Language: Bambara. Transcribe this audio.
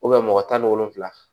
mɔgɔ tan ni wolonvila